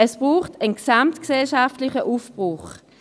Es braucht einen gesamtgesellschaftlichen Aufbruch.